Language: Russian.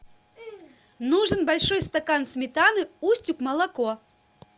нужен большой стакан сметаны устюг молоко